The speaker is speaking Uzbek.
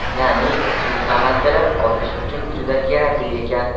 Ya’ni, bu tamaddilar ozish uchun juda kerakli ekan.